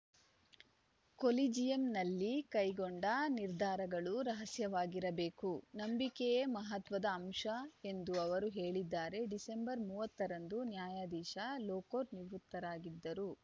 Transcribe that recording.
ಕೊಲಿಜಿಯಂನಲ್ಲಿ ಕೈಗೊಂಡ ನಿರ್ಧಾರಗಳು ರಹಸ್ಯವಾಗಿರಬೇಕು ನಂಬಿಕೆಯೇ ಮಹತ್ವದ ಅಂಶ ಎಂದು ಅವರು ಹೇಳಿದ್ದಾರೆ ಡಿಸೆಂಬರ್ ಮೂವತ್ತರಂದು ನ್ಯಾಯದಿಶಾ ಲೋಕೂರ್‌ ನಿವೃತ್ತರಾಗಿದ್ದರು